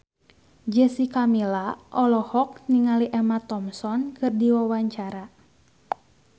Jessica Milla olohok ningali Emma Thompson keur diwawancara